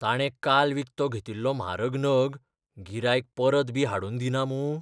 ताणें काल विकतो घेतिल्लो म्हारग नग गिरायक परतबी हाडून दिना मूं?